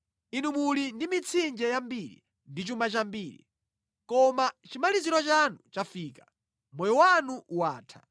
Inu muli ndi mitsinje yambiri ndi chuma chambiri. Koma chimaliziro chanu chafika, moyo wanu watha.